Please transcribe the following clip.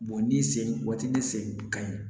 ni sen waati ni sen ka ɲi